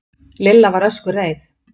Lilla var öskureið.